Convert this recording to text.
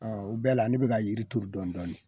Aa o bɛɛ la ne be ka yiri turu dɔni dɔni